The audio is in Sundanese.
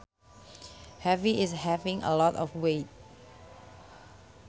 Heavy is having a lot of weight